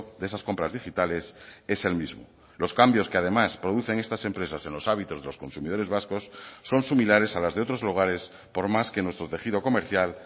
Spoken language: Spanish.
de esas compras digitales es el mismo los cambios que además producen estas empresas en los hábitos de los consumidores vascos son similares a las de otros lugares por más que nuestro tejido comercial